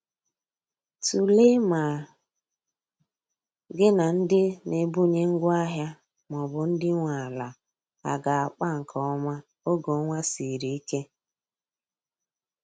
Tụlee ma gi na ndi n'ebunye ngwa ahia maọbụ ndi nwe ala aga akpa nke oma oge ọnwa sịrị ike